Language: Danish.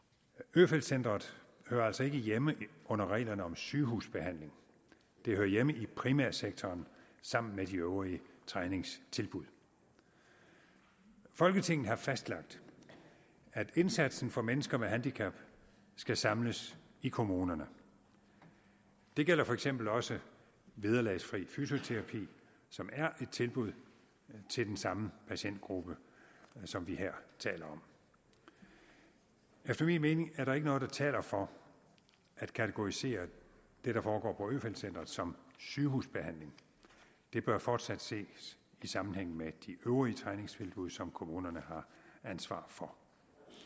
øfeldt centret hører altså ikke hjemme under reglerne om sygehusbehandling det hører hjemme i primærsektoren sammen med de øvrige træningstilbud folketinget har fastlagt at indsatsen for mennesker med handicap skal samles i kommunerne det gælder for eksempel også vederlagsfri fysioterapi som er et tilbud til den samme patientgruppe som vi her taler om efter min mening er der ikke noget der taler for at kategorisere det der foregår på øfeldt centret som sygehusbehandling det bør fortsat ses i sammenhæng med de øvrige træningstilbud som kommunerne har ansvaret for